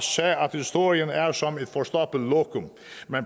historien er som et forstoppet lokum